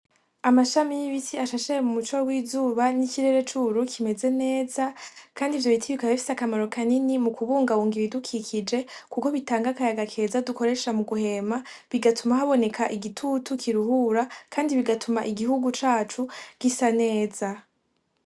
Amashami y'ibiti ashashe mu muco w'izuba n'ikirere kimeze neza , kandi ivyo biti bikaba bifise akamaro kanini mu kubungabunga ibdukikije kuko bitanga akayaga keza dukoresha mu guhema bigatuma haboneka igitutu kiruhura , kandi bigatuma igihugu cacu gisa neza.